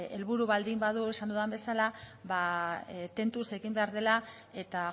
helburu badu esan dudan bezala ba tentuz egin behar dela eta